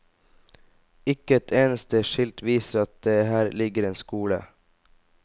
Ikke et eneste skilt viser at det her ligger en skole.